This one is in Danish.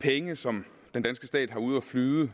penge som den danske stat har ude at flyde